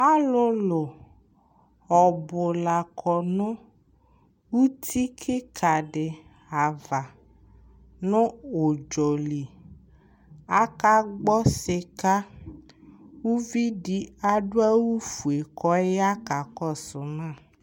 Alʋlʋ ɔbʋ la kɔ nʋ uti kɩka dɩ ava nʋ ʋdzɔ li Akagbɔ sɩka Uvi dɩ adʋ awʋfue kʋ ɔya kakɔsʋ ma